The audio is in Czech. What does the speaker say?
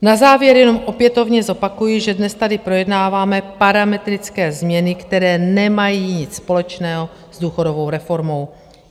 Na závěr jenom opětovně zopakuji, že dnes tady projednáváme parametrické změny, které nemají nic společného s důchodovou reformou.